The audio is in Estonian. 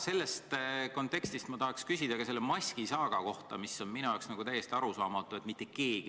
Selles kontekstis tahaks ma küsida ka maskisaaga kohta, mis on minu jaoks täiesti arusaamatu.